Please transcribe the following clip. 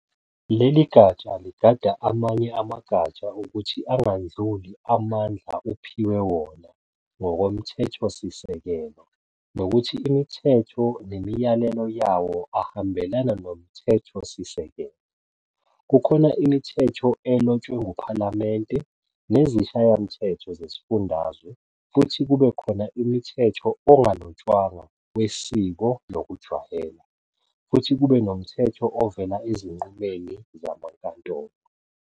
Leligatsha ligada amanye amagatsha ukuthi angandluli amandla uphiwe wona ngokomthethosisekelo nokuthi imithetho nemiyalelo yawo ahambelana nomthethosisekelo. Kukhona imithetho elotshwe nguPhalamende nezishayamthetho zezifundazwe futhi kube khona imithetho ongalotshwanga wesiko nokujwayela, futhi kube nomthetho ovela ezinqumeni zamankantolo.